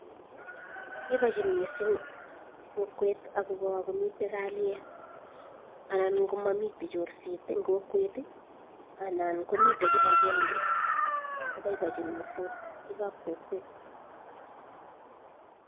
Boibochin missing kokwet, akobo komiten kalyet. Anan komomiten chorset en kokwet, anan ko mitten kibagenge, koboiboenyiin missing biikab kokwet.